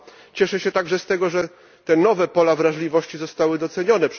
Cieszę się także z tego, że te nowe pola wrażliwości zostały docenione.